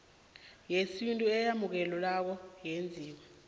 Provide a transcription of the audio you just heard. yesintu eyamukelekako eyenziwe